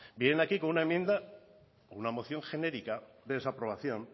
vienen aquí con una enmienda con la moción genérica de desaprobación